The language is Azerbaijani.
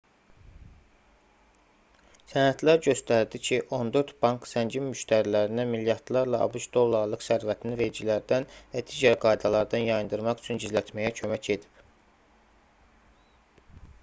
sənədlər göstərdi ki 14 bank zəngin müştərilərinə milyardlarla abş dollarlıq sərvətini vergilərdən və digər qaydalardan yayındırmaq üçün gizlətməyə kömək edib